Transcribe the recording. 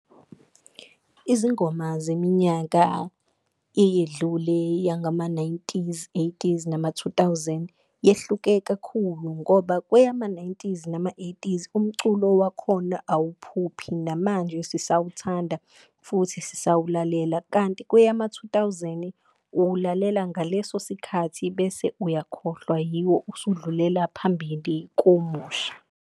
Izingoma zeminyaka eyedlule yangama-nineties, eighties, nama-two thousand yehluke kakhulu, ngoba kweyama-nineties nama-eighties umculo wakhona awuphuphi namanje sisawuthanda futhi sisawulalela. Kanti kweyama-two thousand uwulalela ngaleso sikhathi bese uyakhohlwa yiwo, usudlulela phambili komusha.